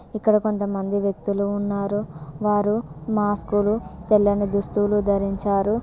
ఇక్కడ కొంతమంది వ్యక్తులు ఉన్నారు వారు మాస్క్లు తెల్లని దుస్తులు ధరించారు.